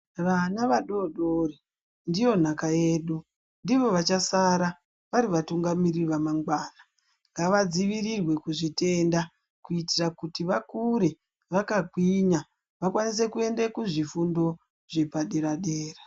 Vana vadori dori ndiyo nhaka yedu. Ndivo vachasara vari vatungamiriri vamangwana. Ngavadzivirirwe kuzvitenda, kuitira kuti vakure vakagwinya, vakwanise kuende kuzvifundo zvepadera-dera.